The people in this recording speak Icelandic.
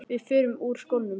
Við förum úr skónum.